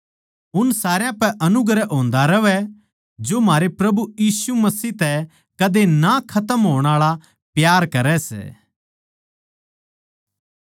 उन सारा पे अनुग्रह होंदा रहवै जो म्हारै प्रभु यीशु मसीह तै कदे ना खतम होण आळा प्यार करै सै